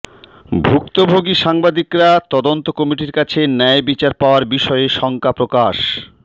ভুক্তভোগী সাংবাদিকরা তদন্ত কমিটির কাছে ন্যায় বিচার পাওয়ার বিষয়ে শঙ্কা প্রকাশ